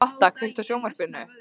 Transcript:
Lotta, kveiktu á sjónvarpinu.